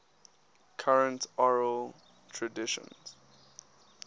current oral traditions